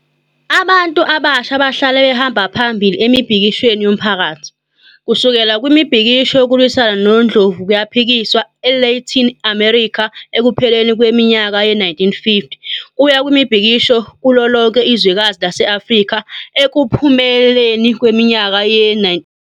Abantu abasha bahlale behamba phambili emibhikishweni yomphakathi, kusukela kumibhikisho yokulwisana nondlovukayiphikiswa e-Latin America ekupheleni kweminyaka ye-1950, kuya kwimibhikisho kulolonke izwekazi lase-Afrika ekupheleni kweminyaka ye-1960.